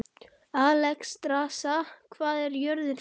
Alexstrasa, hvað er jörðin stór?